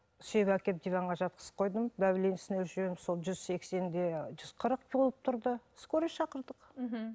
сүйеп әкеліп диванға жатқызып қойдым давлениесін өлшеп едім сол жүз сексен де жүз қырық болып тұрды скорый шақырдық мхм